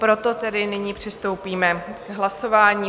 Proto tedy nyní přistoupíme k hlasování.